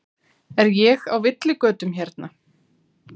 Er ég á villigötum hérna?